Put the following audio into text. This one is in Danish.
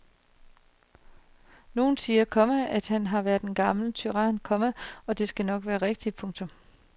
Nogle siger, komma han var en gammel tyran, komma og det skal nok være rigtigt. punktum